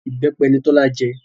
Ìbẹ́pẹ ni Tọ́lá jẹ